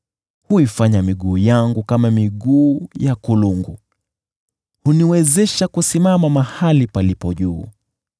Huifanya miguu yangu kama miguu ya kulungu, huniwezesha kusimama mahali palipo juu.